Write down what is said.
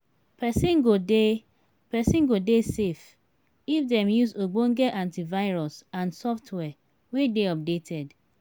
perosn go dey perosn go dey safe if dem use ogbonge antivirus and software wey dey updated